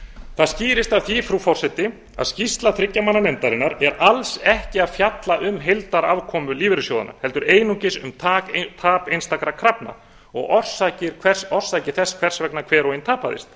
það skýrist af því frú forseti að skýrsla þriggja manna nefndarinnar er alls ekki að fjalla um heildarafkomu lífeyrissjóðanna heldur einungis um tap einstakra krafna og orsakir þess hvers vegna hver og ein tapaðist